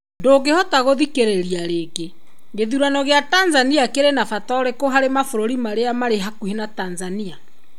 Ndũngĩhota gũthikĩrĩria rĩngĩ , gĩthurano gĩa Tanzania kĩrĩ na bata ũrĩkũ harĩ mabũrũri marĩa marĩ hakuhĩ na Tanzania?